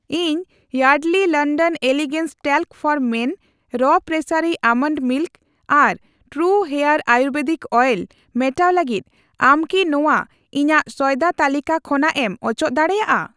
ᱤᱧ Yardley London elegance talc for men, ᱨᱚ ᱯᱨᱮᱥᱥᱮᱨᱤ ᱵᱟᱫᱟᱢ ᱥᱩᱱᱩᱢ ᱟᱨ ᱴᱨᱩ ᱦᱮᱭᱟᱨ ᱟᱭᱩᱨᱵᱷᱮᱫᱤᱠ ᱚᱭᱮᱞ ᱢᱮᱴᱟᱣ ᱞᱟᱹᱜᱤᱫ, ᱟᱢ ᱠᱤ ᱱᱚᱣᱟ ᱤᱧᱟᱜ ᱥᱚᱭᱫᱟ ᱛᱟᱹᱞᱤᱠᱟ ᱠᱷᱚᱱᱟᱜ ᱮᱢ ᱚᱪᱚᱜ ᱫᱟᱲᱮᱭᱟᱜᱼᱟ ?